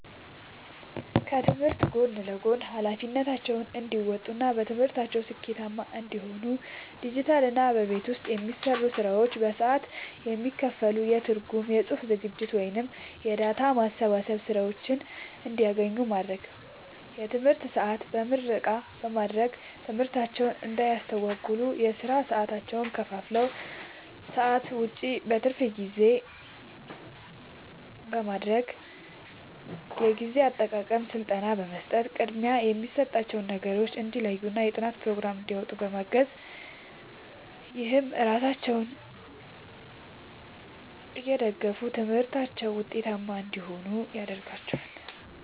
ከትምህርት ጎን ለጎን ኃላፊነታቸውን እንዲወጡ እና በትምህርታቸው ስኬታማ እንዲሆኑ ዲጂታልና በቤት ውስጥ የሚሰሩ ስራዎች በሰዓት የሚከፈል የትርጉም፣ የጽሑፍ ዝግጅት ወይም የዳታ ማስገባት ሥራዎችን እንዲያገኙ ማድረግ። የትምህርት ሰዓት በምረቃ በማድረግ ትምህርታቸውን እንዳያስተጓጉል የሥራ ሰዓታቸውን ከክፍል ሰዓት ውጭ (በትርፍ ጊዜ) ማድረግ። የጊዜ አጠቃቀም ሥልጠና በመስጠት ቅድሚያ የሚሰጣቸውን ነገሮች እንዲለዩና የጥናት ፕሮግራም እንዲያወጡ ማገዝ። ይህም ራሳቸውን እየደገፉ በትምህርታቸው ውጤታማ እንዲሆኑ ያደርጋቸዋል።